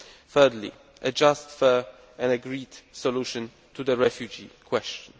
thirdly, a just, fair and agreed solution to the refugee question